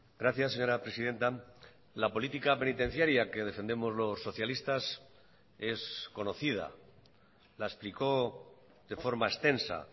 gracias señora presidenta la política penitenciaria que defendemos los socialistas es conocida la explicó de forma extensa